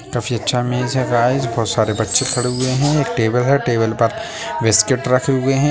काफी अच्छा इमेज है गाइज बहोत सारे बच्चे खड़े हुए है एक टेबल है टेबुल पर बिस्कुट रखी हुए है।